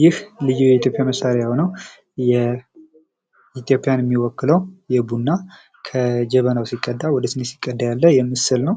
ይህ ልዩ የኢትዮጵያ መሳሪያ የሆነው ኢትዮጵያን የሚወክለው ቡና ከጀበና ወደ ሲኒ ሲቀዳ ያለ ምስል ነው